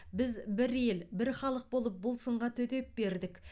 біз бір ел бір халық болып бұл сынға төтеп бердік